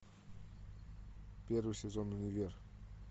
первый сезон универ